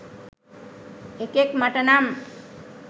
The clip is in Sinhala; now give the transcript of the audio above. එකෙක් මට නම්